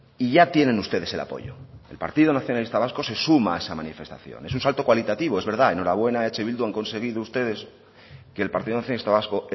y ya tienen ustedes el apoyo el partido nacionalista vasco se suma a esa manifestación es un salto cualitativo es verdad enhorabuena a eh bildu han conseguido ustedes que el partido nacionalista vasco